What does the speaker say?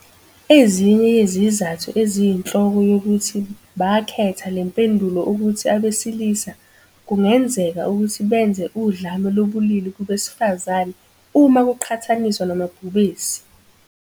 Ezinye yezizathu eziyinhloko zokuthi bakhetha le mpendulo ukuthi abesilisa kungenzeka ukuthi benze udlame lobulili kubesifazane uma kuqhathaniswa namabhubesi.